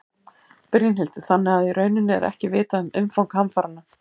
Brynhildur: Þannig að í rauninni er ekki vitað um umfang hamfaranna?